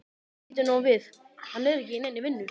Bíddu nú við, hann er ekki í neinni vinnu?